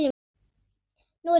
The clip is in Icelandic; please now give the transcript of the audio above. Nú er ég frjáls!